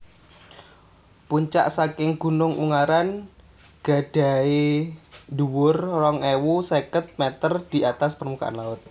Puncak saking Gunung Ungaran gadhahi dhuwur rong ewu seket meter di atas permukaan laut